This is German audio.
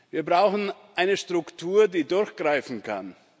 Wir brauchen eine Struktur, die durchgreifen kann.